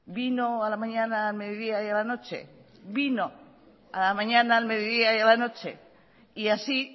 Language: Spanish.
vino a la mañana al mediodía y a la noche y así